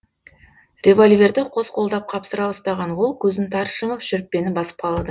револьверді қос қолдап қапсыра ұстаған ол көзін тарс жұмып шүріппені басып қалды